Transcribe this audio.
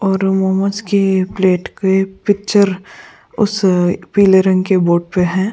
और मोमोस के प्लेट के पिक्चर उस पीले रंग के बोर्ड पे है।